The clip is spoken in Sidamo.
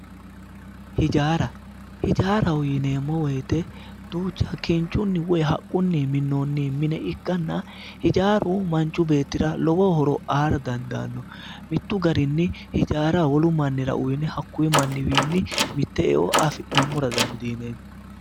hijaara hijaaraho yineemmo wote kinchunni minamino mine ikkanna hijaaru manchu beettira lowo horo aara dandaanno mittu garinni hijaara wolu mannira uyiine hakkunni manniwiinni mitte eo afi'nammora dandiineemmo.